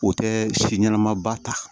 O tɛ si ɲɛnama ba ta